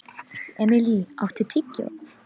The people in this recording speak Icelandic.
Emilý, áttu tyggjó?